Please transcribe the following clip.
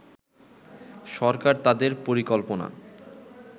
সরকার তাদের পরিকল্পনা